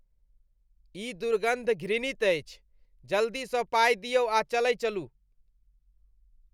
ई दुर्गन्ध घृणित अछि। जल्दीसँ पाइ दियौ आ चलै चलू।